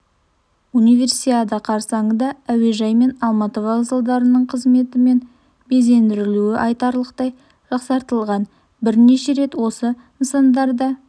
универсиада қарсаңында әуежай мен алматы вокзалдарының қызметі мен безендірілуі айтарлықтай жақсартылған бірнеше рет осы нысандарда